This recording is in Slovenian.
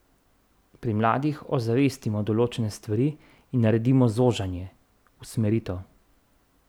Pri mladih ozavestimo določene stvari in naredimo zožanje, usmeritev.